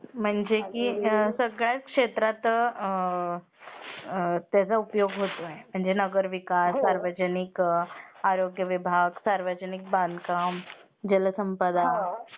म्हणजे की सगळ्याच क्षेत्रात त्याचा उपयोग होतो आहे म्हणजे नगर विकास, सार्वजनिक आरोग्य विभाग ,सार्वजनिक बांधकाम, जलसंपदा